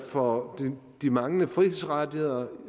for de manglende frihedsrettigheder